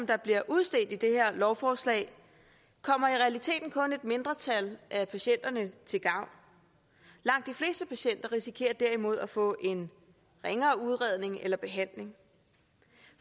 der bliver udstedt i det her lovforslag kommer i realiteten kun et mindretal af patienterne til gavn langt de fleste patienter risikerer derimod at få en ringere udredning eller behandling